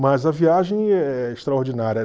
Mas a viagem é extraordinária.